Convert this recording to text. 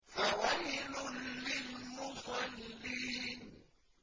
فَوَيْلٌ لِّلْمُصَلِّينَ